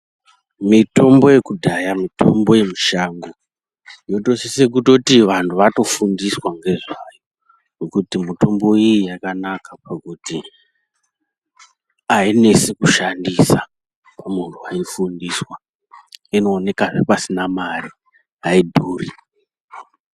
Mitombo yekudhaya mitombo yemushango inosisa kuti vantu vanofunda nezvayo ngekuti mitombo iyi yakanaka pakuti ainesi kushandisa kumuntu weishandisa inoonekwahe pasina mare aidhuri.